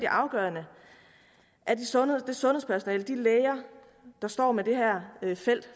afgørende at det sundhedspersonale og de læger der står med det her